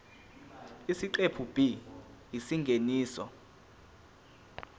isiqephu b isingeniso